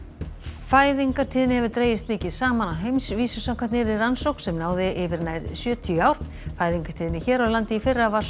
fæðingartíðni hefur dregist mikið saman á heimsvísu samkvæmt nýrri rannsókn sem náði yfir nær sjötíu ár fæðingartíðni hér á landi í fyrra var sú